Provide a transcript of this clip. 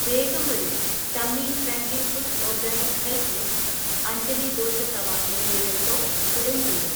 വേഗം വരൂ, tummy friendly foods organic health mix, Anjali dosa tawa എന്നിവയുടെ സ്റ്റോക് ഉടൻ തീരും.